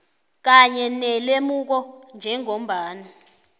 kanye nelemuko njengombana